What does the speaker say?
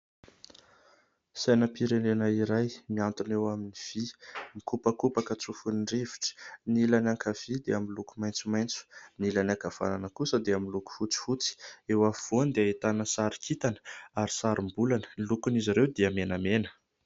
Sainam-pirenena iray mihantona eo amin'ny vy. Mikopakopaka tsofin'ny rivotra. Ny ilany ankavia dia miloko maitsomaitso, ny ilany ankavanana kosa dia miloko fotsifotsy. Eo afovoany dia ahitana sary kintana ary sarim-bolana, ny lokon'izy ireo dia menamena.